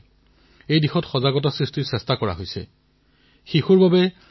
বিশেষকৈ আমাৰ গাঁওসমূহত ইয়াক জনসাধাৰণৰ অংশগ্ৰহণৰ দ্বাৰা জন আন্দোলনলৈ পৰিৱৰ্তিত কৰা হৈছে